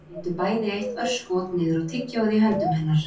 Þau litu bæði eitt örskot niður á tyggjóið í höndum hennar